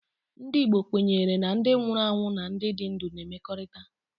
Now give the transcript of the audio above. Ndị Igbo kwenyere na ndị nwụrụ anwụ na ndị dị ndụ na-emekọrìta